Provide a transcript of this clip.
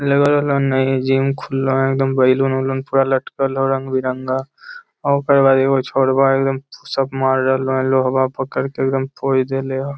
लगा है नया जिम खुला है एकदम बैलन -उल्लून पूरा लटकल है रंग-बिरंगा ओकर बाद एगो छोरवा एकदम पुश अप मार रहला है लोहवा पकड़ के एकदम पोज़ दैले है ।